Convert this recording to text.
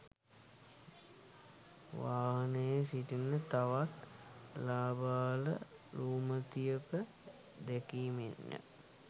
වාහනයේ සිටින තවත් ළාබාල රූමතියක දැකීමෙන්ය.